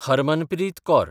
Harmanpreet Kaur